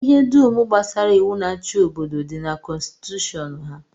Ihe dum gbasara iwu na-achị obodo dị na kọnstitushọn ha.